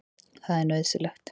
Það er nauðsynlegt.